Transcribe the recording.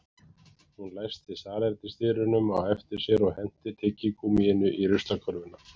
Hún læsti salernisdyrunum á eftir sér og henti tyggigúmmíinu í ruslakörfuna